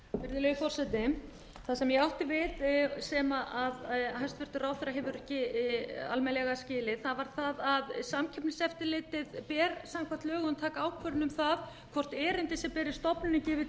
virðulegi forseti það sem ég átti við sem hæstvirtur ráðherra hefur ekki almennilega skilið var að samkeppniseftirlitinu ber samkvæmt lögum að taka ákvörðun um það hvort erindi sem berist stofnuninni gefi